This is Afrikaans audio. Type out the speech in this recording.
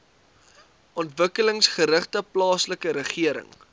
ontwikkelingsgerigte plaaslike regering